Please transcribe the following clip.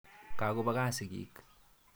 Ka kopa kaa sigik.